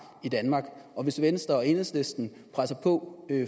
i danmark og hvis venstre og enhedslisten presser på